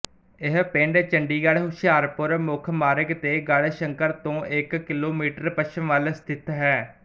ਇਹ ਪਿੰਡ ਚੰਡੀਗੜ੍ਹਹੁਸ਼ਿਆਰਪੁਰ ਮੁੱਖ ਮਾਰਗ ਤੇ ਗੜ੍ਹਸ਼ੰਕਰ ਤੋਂ ਇੱਕ ਕਿਲੋਮੀਟਰ ਪੱਛਮ ਵੱਲ ਸਥਿਤ ਹੈ